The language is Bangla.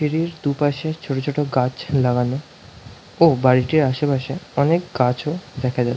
সিড়ির দুপাশে ছোট ছোট গাছ লাগানো ও বাড়িটির আসে পাশে অনেক গাছও দেখা যা--